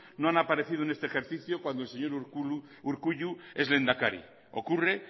no han aparecido en este ejercicio cuando el señor urkullu es lehendakari ocurre